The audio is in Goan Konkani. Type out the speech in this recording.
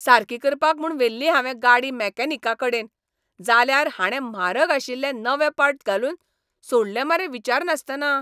सारकी करपाक म्हूण व्हेल्ली हावें गाडी मॅकॅनिकाकडेन, जाल्यार हाणे म्हारग आशिल्ले नवे पार्ट घालून सोडले मरे विचारनासतना.